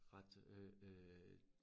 Ret øh øh